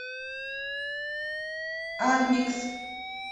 адмикс